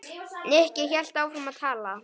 Nikki hélt áfram að tala.